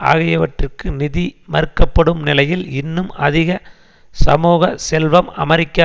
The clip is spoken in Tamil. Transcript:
ஆகியவற்றிற்கு நிதி மறுக்கப்படும் நிலையில் இன்னும் அதிக சமூக செல்வம் அமெரிக்க